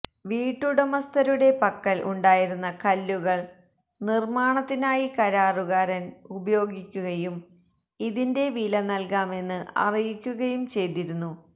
വീട്ടുടമസ്ഥരുടെ പക്കല് ഉണ്ടായിരുന്ന കല്ലുകള് നിര്മ്മാണത്തിനായി കരാറുകാരന് ഉപയോഗിക്കുകയും ഇതിന്റെ വില നല്കാമെന്ന് അറിയിക്കുകയും ചെയ്തിരുന്നു